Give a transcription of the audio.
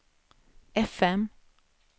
fm